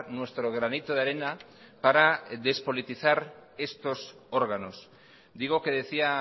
nuestro granito de arena para despolitizar estos órganos digo que decía